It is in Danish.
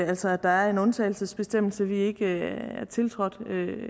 altså at der er en undtagelsesbestemmelse i konventionen vi ikke har tiltrådt